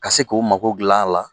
Ka se k'u mago dilan a la